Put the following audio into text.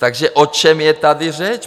Takže o čem je tady řeč?